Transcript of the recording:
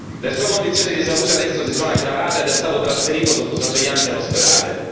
Le sue condizioni di salute adesso si sono aggravate ed è stato trasferito sotto sorveglianza in ospedale.